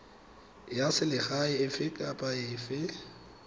ya selegae efe kapa efe